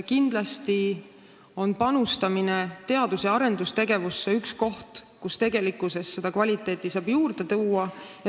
Kindlasti on panustamine teadus- ja arendustegevusse üks koht, mille abil saab tegelikkuses kvaliteeti juurde tuua.